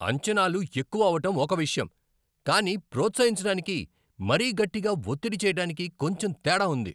అంచనాలు ఎక్కువ అవటం ఒక విషయం, కానీ ప్రోత్సహించటానికి, మరీ గట్టిగా ఒత్తిడి చెయ్యటానికి కొంచెం తేడా ఉంది.